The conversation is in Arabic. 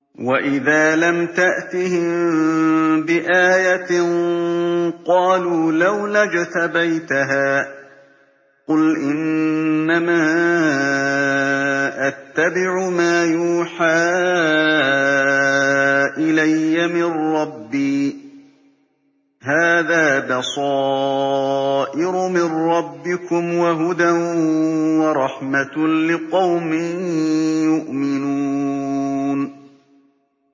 وَإِذَا لَمْ تَأْتِهِم بِآيَةٍ قَالُوا لَوْلَا اجْتَبَيْتَهَا ۚ قُلْ إِنَّمَا أَتَّبِعُ مَا يُوحَىٰ إِلَيَّ مِن رَّبِّي ۚ هَٰذَا بَصَائِرُ مِن رَّبِّكُمْ وَهُدًى وَرَحْمَةٌ لِّقَوْمٍ يُؤْمِنُونَ